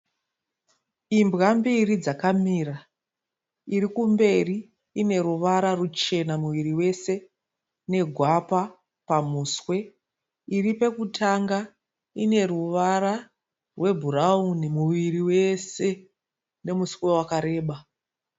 Imbwa mbiri dzakamira. Iri kumberi ine ruvara ruchena muviri wese negwapa pamuswe. Iri pekutanga ine ruvara rwebhurauni muviri wese nemuswe wakareba.